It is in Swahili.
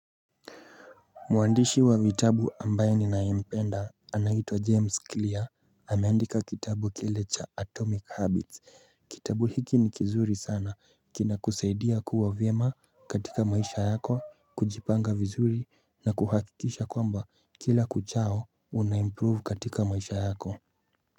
Mwandishi wa vitabu ambaye ninayempenda anaitwa James Clear, ameandika kitabu kile cha Atomic Habits, kitabu hiki ni kizuri sana, kina kusaidia kuwa vyema katika maisha yako, kujipanga vizuri na kuhakikisha kwamba kila kuchao unaimprove katika maisha yako.